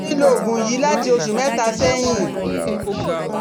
ó ti ń lo oògùn yìí láti oṣù mẹ́ta sẹ́yìn